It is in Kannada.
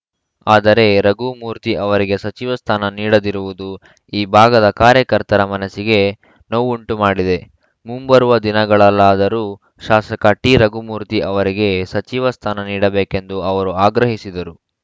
ಆದರೆ ರಘುಮೂರ್ತಿ ಅವರಿಗೆ ಸಚಿವ ಸ್ಥಾನ ನೀಡದಿರುವುದು ಈ ಭಾಗದ ಕಾರ್ಯಕರ್ತರ ಮನಸ್ಸಿಗೆ ನೋವುಂಟು ಮಾಡಿದೆ ಮುಂಬರುವ ದಿನಗಳಲ್ಲಾದರೂ ಶಾಸಕ ಟಿರಘುಮೂರ್ತಿ ಅವರಿಗೆ ಸಚಿವ ಸ್ಥಾನ ನೀಡಬೇಕೆಂದು ಅವರು ಆಗ್ರಹಿಸಿದರು